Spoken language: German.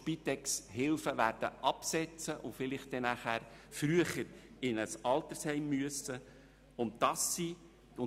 Sie werden die Hilfe der Spitex absetzen und vielleicht früher in ein Altersheim eintreten müssen.